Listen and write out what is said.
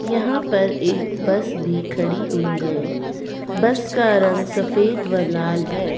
यहां पर एक बस भी खड़ी हुई है बस का रंग सफेद व लाल है।